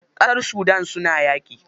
Ƙasar Sudan suna yaƙi.